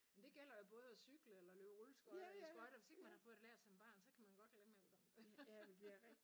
Men det gælder jo både at cykle eller løbe rulleskøjter eller skøjter hvis ikke man har fået det lært som barn så kan man godt glemme alt om det